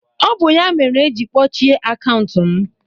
ọ bụ ya mere eji kpọchie akaụntụ m